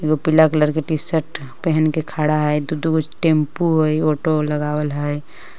पीला कलर के T shirt पहेन के खड़ा है दू दु गो टेंपो है ऑटो लगावल हय।